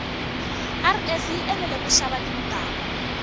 rs yi enela kushava tintangu